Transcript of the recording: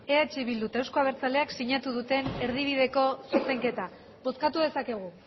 eh bildu eta eusko abertzaleak sinatu duten erdibideko zuzenketa bozkatu dezakegu